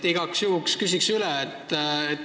Igaks juhuks küsin üle.